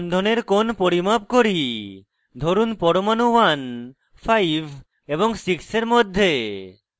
আরেকটি বন্ধনের কোণ পরিমাপ করি ধরুন পরমাণু 15 এবং 6 এর মধ্যে